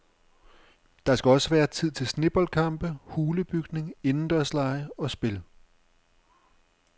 Der skal også være tid til sneboldkampe, hulebygning, indendørslege og spil.